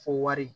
Fo wari